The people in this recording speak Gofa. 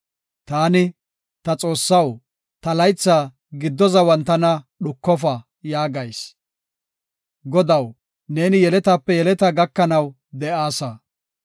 Taani, “Ta Xoossaw, ta laytha giddo zawan tana dhukofa” yaagayis. Godaw, neeni yeletape yeletaa gakanaw de7aasa.